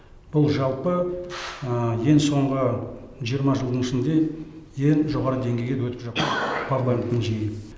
бұл жалпы ең соңғы жиырма жылдың ішінде ең жоғары деңгейге өтіп жатқан парламенттің жиыны